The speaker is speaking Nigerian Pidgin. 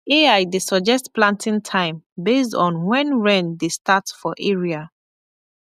ai dey suggest planting time based on when rain dey start for area